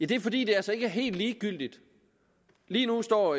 det er fordi det altså ikke er helt ligegyldigt lige nu står